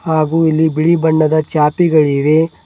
ಹಾಗೂ ಇಲ್ಲಿ ಬಿಳಿ ಬಣ್ಣದ ಚಾಪೆಗಳಿವೆ.